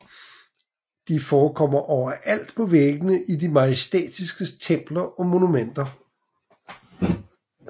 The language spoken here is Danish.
De forekom overalt på væggene i de majestætisker templer og monumenter